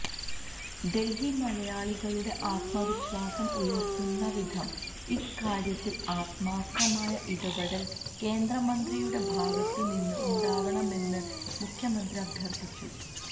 ഡല്ഹി മലയാളികളുടെ ആത്മവിശ്വാസം ഉയര്ത്തുന്ന വിധം ഇക്കാര്യത്തില് ആത്മാര്ഥമായ ഇടപെടല് കേന്ദ്ര മന്ത്രിയുടെ ഭാഗത്തുനിന്ന് ഉണ്ടാവണമെന്ന് മുഖ്യമന്ത്രി അഭ്യര്ഥിച്ചു